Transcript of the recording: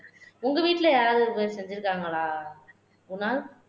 உங்க வீட்டிலே யாராவது இந்த மாதிரி செஞ்சிருக்காங்களா குணால்